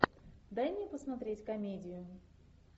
дай мне посмотреть комедию